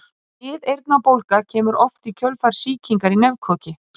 Miðeyrnabólga kemur oft í kjölfar sýkingar í nefkoki.